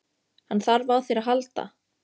Hann þarf á þér að halda.